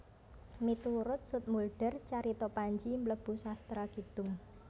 Miturut Zoetmulder carita Panji mlebu sastra kidung